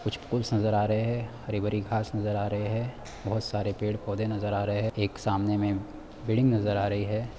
कुछ फूल्स नजर आ रहे हैं हरी-भरी घांस नजर आ रहे है बहुत सारे पेड़-पौधे नजर आ रहे हैं एक सामने में बिल्डिंग नज़र आ रहे हैं ।